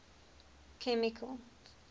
chemical